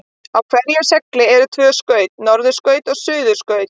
Á hverjum segli eru tvö skaut, norðurskaut og suðurskaut.